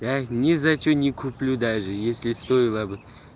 я их ни за что не куплю даже если стоило бы